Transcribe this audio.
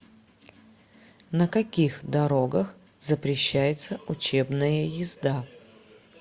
на каких дорогах запрещается учебная езда